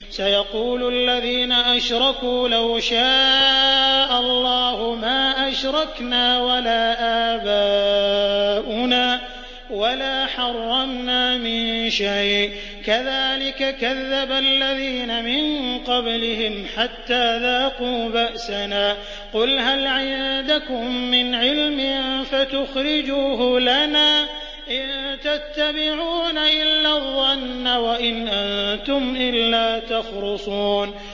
سَيَقُولُ الَّذِينَ أَشْرَكُوا لَوْ شَاءَ اللَّهُ مَا أَشْرَكْنَا وَلَا آبَاؤُنَا وَلَا حَرَّمْنَا مِن شَيْءٍ ۚ كَذَٰلِكَ كَذَّبَ الَّذِينَ مِن قَبْلِهِمْ حَتَّىٰ ذَاقُوا بَأْسَنَا ۗ قُلْ هَلْ عِندَكُم مِّنْ عِلْمٍ فَتُخْرِجُوهُ لَنَا ۖ إِن تَتَّبِعُونَ إِلَّا الظَّنَّ وَإِنْ أَنتُمْ إِلَّا تَخْرُصُونَ